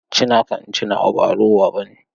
Ci naka in ci nawa ba rowa bane.